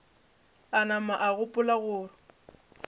a napa a gopola go